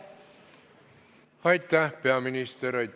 Aitäh, peaminister!